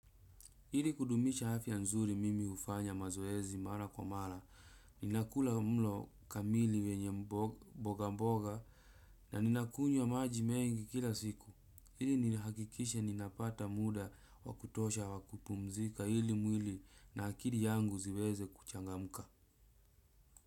Ili kudumisha afya nzuri mimi hufanya mazoezi mara kwa mara, ninakula mlo kamili wenye mboga mboga na ninakunywa maji mengi kila siku. Ili nihakikishe ninapata muda wa kutosha wa kupumzika ili mwili na akili yangu ziweze kuchangamka.